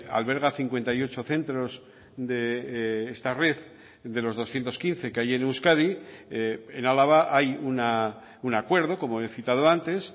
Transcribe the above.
alberga cincuenta y ocho centros de esta red de los doscientos quince que hay en euskadi en álava hay un acuerdo como he citado antes